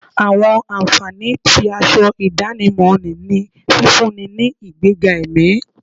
Àwọn ànfàní tí aṣọ ìdánimọ̀ ní ní fífúnni ní ìgbẹ́ga ẹ̀mí